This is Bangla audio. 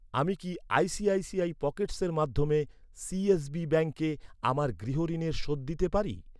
আমি কি আইসিআইসিআই পকেটসের মাধ্যমে সি.এস.বি ব্যাঙ্কে আমার গৃহ ঋণের শোধ দিতে পারি?